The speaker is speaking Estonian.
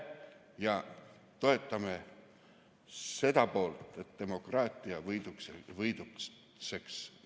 Toetame seda, et demokraatia võidutseks meie Eestimaal.